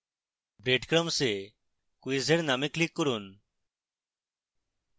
breadcrumbs এ quiz এর name click করুন